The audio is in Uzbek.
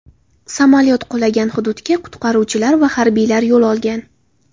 Samolyot qulagan hududga qutqaruvchilar va harbiylar yo‘l olgan.